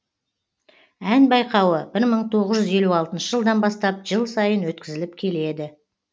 ән байқауы бір мың тоғыз жүз елу алтыншы жылдан бастап жыл сайын өткізіліп келеді